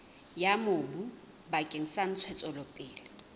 ya mobu bakeng sa ntshetsopele